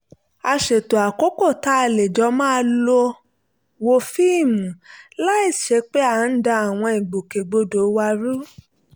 a ṣètò àkókò tá a lè jọ máa lọ wo fíìmù láìsí pé à ń da àwọn ìgbòkègbodò wa rú